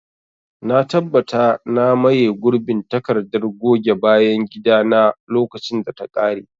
Na tabbata na maye gurbin takardar goge bayan gida na lokacin da ta kare.